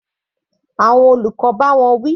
Àwọn olùkọ́ bá wọn wí.